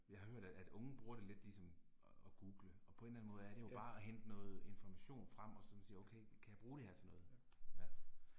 Jeg har hørt at at unge bruger det lidt ligesom at at google, og på en eller anden måde er det jo bare at hente noget information frem og sådan sige okay, kan jeg bruge det her til noget? Ja